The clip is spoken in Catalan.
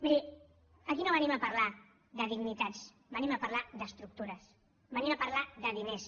miri aquí no venim a parlar de dignitats venim a parlar d’estructures venim a parlar de diners